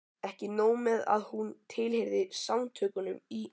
Ekki nóg með að hún tilheyrði Samtökunum í